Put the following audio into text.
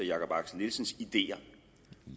jakob axel nielsens ideer